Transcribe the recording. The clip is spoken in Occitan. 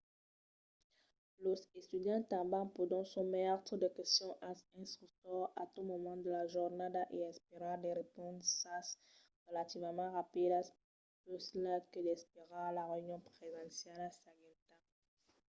los estudiants tanben pòdon sometre de questions als instructors a tot moment de la jornada e esperar de responsas relativament rapidas puslèu que d'esperar la reünion presenciala seguenta